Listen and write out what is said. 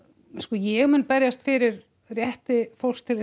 ég mun berjast fyrir rétti fólks til